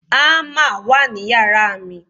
hammer wa ni yàrá mi